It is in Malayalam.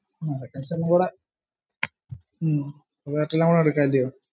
കൂടെ ഹും ഒരു എയര്‍ടെല്ലും കൂടെ എടുകാല്ല്യോ